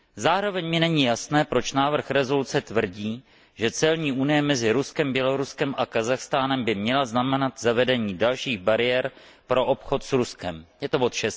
Zároveň mi není jasné, proč návrh rezoluce tvrdí, že celní unie mezi Ruskem, Běloruskem a Kazachstánem by měla znamenat zavedení dalších bariér pro obchod s Ruskem je to bod